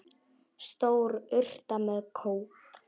Stór urta með kóp.